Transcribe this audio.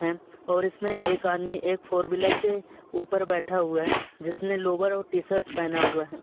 हैं और इसमें एक आदमी एक फोर व्हीलर के ऊपर बैठा हुआ हैं जिसने लोअर और टी-शर्ट पहना हुआ है।